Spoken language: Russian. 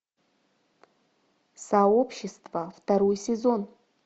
сообщество второй сезон